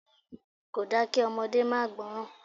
Kòda kí ọmọdé máa gbọ́ràn.